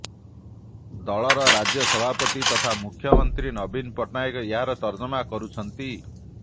ଦଳର ରାଜ୍ୟସଭାପତି ତଥା ମୁଖ୍ୟମନ୍ତ୍ରୀ ନବୀନ ପଟ୍ଟନାୟକ ଏହାର ତର୍ଜମା କରୁଛନ୍ତି